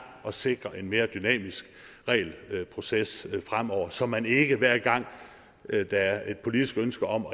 at sikre en mere dynamisk regelproces fremover så man ikke hver gang der er et politisk ønske om